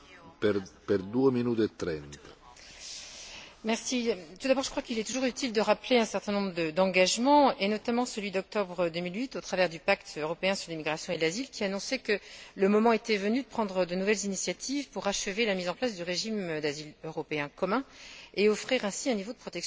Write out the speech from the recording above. Monsieur le Président, je crois qu'il est toujours utile de rappeler un certain nombre d'engagements, et notamment celui d'octobre 2008, au travers du Pacte européen sur l'immigration et l'asile, qui annonçait que le moment était venu de prendre de nouvelles initiatives pour achever la mise en place du régime d'asile européen commun et offrir ainsi un niveau de protection plus élevé au sein de l'Union européenne.